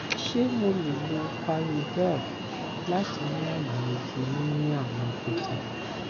ṣe mo le lo parlodel lati ni aye ti nini awọn ibeji